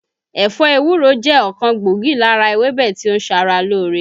Ẹ̀fọ́ ewúro jẹ́ ọ̀kan gbòógì lára ewébẹ̀ tí ó ń ṣara lóore